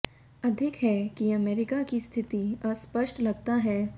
अधिक है कि अमेरिका की स्थिति अस्पष्ट लगता है